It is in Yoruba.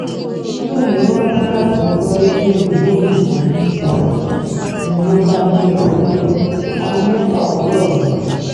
nígbẹ̀yìn ó rántí láti gbọ́ rédíò ìlú òyìnbó bbc ń lọ bá gbé e síbẹ̀ aago mẹ́fà òwúrọ̀ ni